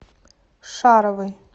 шаровой